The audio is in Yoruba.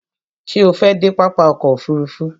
Ṣé o fẹ́ dé pápá ọkò òfurufú?